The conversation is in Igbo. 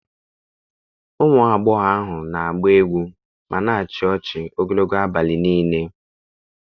Ụmụ agbọghọ ahụ na-agba egwu ma na-achị ọchị ogologo abalị niile.